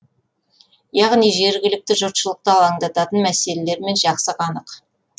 яғни жергілікті жұртшылықты алаңдататын мәселелермен жақсы қанық